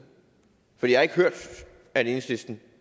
for jeg har ikke hørt at enhedslisten